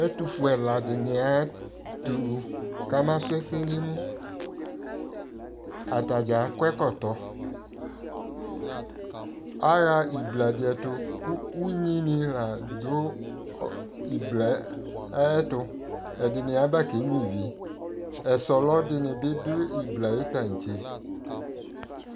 Ɛtufue ɛladɩnɩ azɛ une kamatɛ ʊlʊ atadza akɔ ɛkɔtɔ aɣa ɩbladɩɛtʊ kʊ ʊnyɩnɩ dʊ ɩblaɛtʊ ɛdɩnɩ aba kenyʊa ivi ɔsɔlɔ dɩnɩbɩ dʊ ɩbla yɛ ayʊ tantse